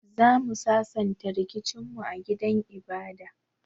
Zamu sasanta rikicin mu a gidan ibada.